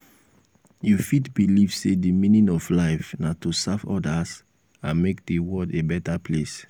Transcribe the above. you fit believe say di meaning of life na to serve others and make di world a beta place.